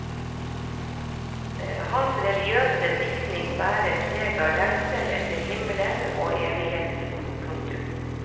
Hans religiøse diktning bærer preg av lengselen etter himmelen og evigheten. punktum